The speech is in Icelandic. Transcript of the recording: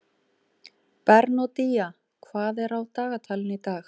Bernódía, hvað er á dagatalinu í dag?